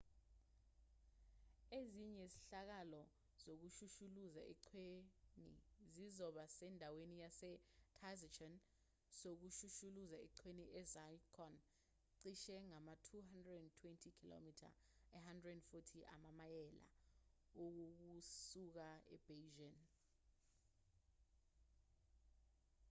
ezinye izehlakalo zokushushuluza eqhweni zizoba sendaweni yase-taizicheng yokushushuluza eqhweni e-zhangjiakou cishe ama-220 km 140 amamayela kusuka ebeijing